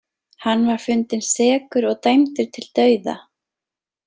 Hann var fundinn sekur og dæmdur til dauða.